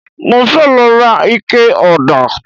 Mo fẹ́ lọ ra ikẹ ọ̀dà